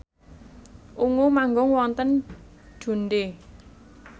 Ungu manggung wonten Dundee